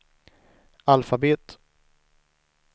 alfabet